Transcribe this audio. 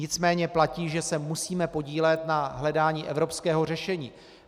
Nicméně platí, že se musíme podílet na hledání evropského řešení.